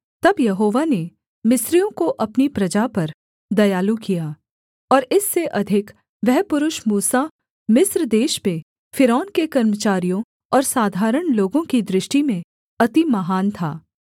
तब यहोवा ने मिस्रियों को अपनी प्रजा पर दयालु किया और इससे अधिक वह पुरुष मूसा मिस्र देश में फ़िरौन के कर्मचारियों और साधारण लोगों की दृष्टि में अति महान था